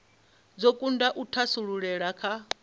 dzo kunda u thasululea kha